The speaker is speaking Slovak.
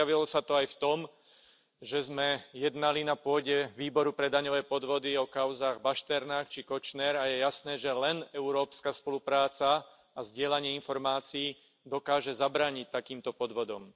Prejavilo sa to aj v tom, že sme jednali na pôde Osobitného výboru pre daňové podvody o kauzách Bašternák či Kočner, a je jasné, že len európska spolupráca a zdieľanie informácií dokážu zabrániť takýmto podvodom.